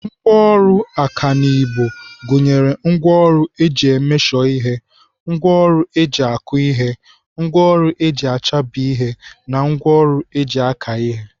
Ngwaọrụ ọkanibo gụnyere ngwaọrụ eji emeshọ ihe, ngwaọrụ eji akụ ihe, ngwaọrụ eji achabi ihe na ngwaọrụ eji aka ihe.